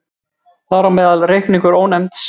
Þar á meðal reikningurinn Ónefnds.